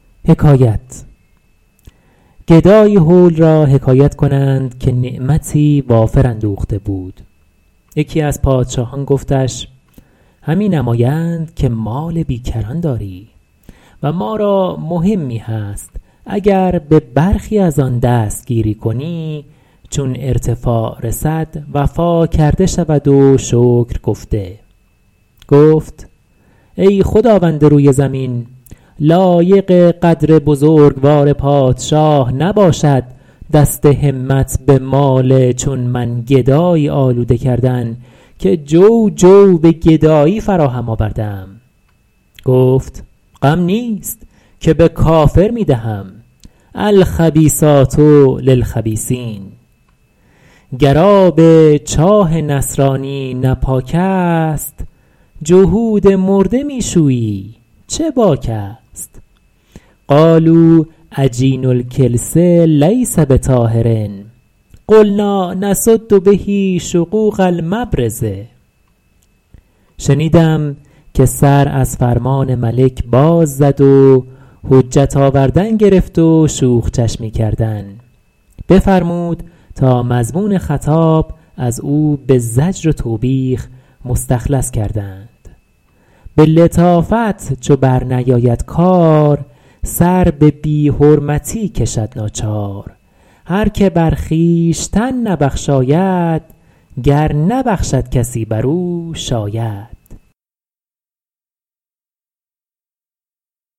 گدایی هول را حکایت کنند که نعمتی وافر اندوخته بود یکی از پادشاهان گفتش همی نمایند که مال بی کران داری و ما را مهمی هست اگر به برخی از آن دست گیری کنی چون ارتفاع رسد وفا کرده شود و شکر گفته گفت ای خداوند روی زمین لایق قدر بزرگوار پادشاه نباشد دست همت به مال چون من گدایی آلوده کردن که جو جو به گدایی فراهم آورده ام گفت غم نیست که به کافر می دهم الخبیثات للخبیثین گر آب چاه نصرانی نه پاک است جهود مرده می شویی چه باک است قالوا عجین الکلس لیس بطاهر قلنٰا نسد به شقوق المبرز شنیدم که سر از فرمان ملک باز زد و حجت آوردن گرفت و شوخ چشمی کردن بفرمود تا مضمون خطاب از او به زجر و توبیخ مخلص کردند به لطافت چو بر نیاید کار سر به بی حرمتی کشد ناچار هر که بر خویشتن نبخشاید گر نبخشد کسی بر او شاید